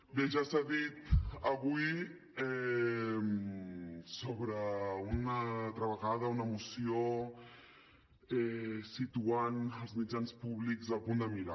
bé ja s’ha dit avui sobre una altra vegada una moció que situa els mitjans públics al punt de mira